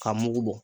K'a mugu bɔ